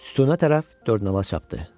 Sütuna tərəf dördnala çapdı.